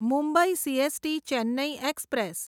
Mumbai CST Chennai express